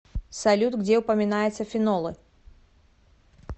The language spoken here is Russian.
салют где упоминается фенолы